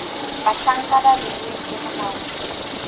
bahlanka ba beilweng ke molaodi